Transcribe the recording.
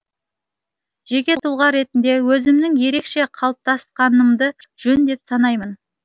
жеке тұлға ретінде өзімнің ерекше қалыптасқанымды жөн деп санаймын